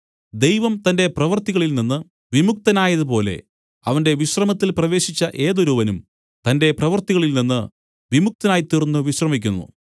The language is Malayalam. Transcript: ദൈവം തന്റെ പ്രവൃത്തികളിൽനിന്നു വിമുക്തനായതു പോലെ അവന്റെ വിശ്രമത്തിൽ പ്രവേശിച്ച ഏതൊരുവനും തന്റെ പ്രവൃത്തികളിൽനിന്നു വിമുക്തനായിത്തീർന്ന് വിശ്രമിക്കുന്നു